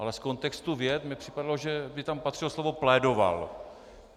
Ale z kontextu vět mi připadalo, že by tam patřilo slovo plédoval.